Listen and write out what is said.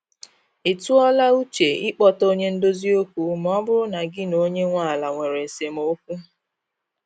Ị tụọ la uche ị kpọta onye ndozi okwu ma ọ bụrụ na gị na onye nwe ala nwere esemokwu